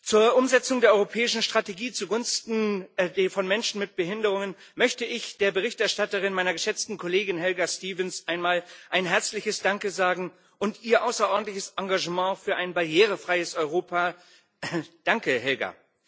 Zur Umsetzung der Europäischen Strategie zugunsten von Menschen mit Behinderungen möchte ich der Berichterstatterin, meiner geschätzten Kollegin Helga Stevens, einmal ein herzliches Danke sagen für ihr außerordentliches Engagement für ein barrierefreies Europa Danke, Helga!